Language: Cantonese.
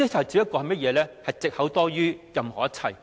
只不過是藉口多於任何一切。